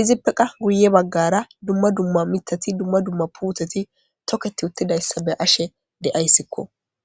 izippe qa guye baggara dumma dumma mitati dumma dumma puuteti tokketi uttidayssa be ashe de7ayssikko.